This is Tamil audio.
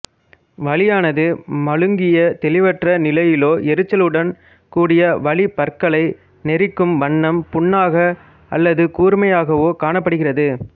வலியானது மழுங்கிய தெளிவற்ற நிலையிலோ எரிச்சலுடன் கூடிய வலி பற்களை நெரிக்கும் வண்ணம் புண்ணாக அல்லது கூர்மையாகவோக் காணப்படுகிறது